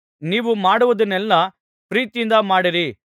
ನೀವು ಮಾಡುವುದನ್ನೆಲ್ಲಾ ಪ್ರೀತಿಯಿಂದ ಮಾಡಿರಿ